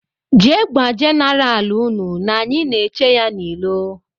Jee gwa jeneral ụnụ na anyị na -eche ya n' ilo.